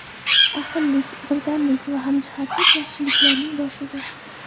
Ahillik, birdamlik va hamjihatlik yaxshiliklarning boshidir.